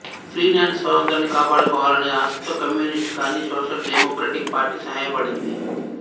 Finland స్వాతంత్ర్యాన్ని కాపాడుకోవాలనే ఆశతో కమ్యూనిస్ట్ కాని సోషల్ డెమోక్రటిక్ పార్టీ సహాయపడింది